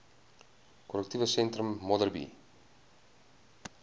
korrektiewe sentrum modderbee